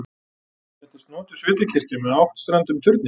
Þetta er snotur sveitakirkja með áttstrendum turni.